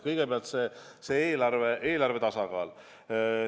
Kõigepealt eelarve tasakaal.